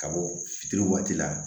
Ka bɔ fitiri waati la